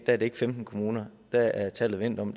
er det ikke femten kommuner der er tallet vendt om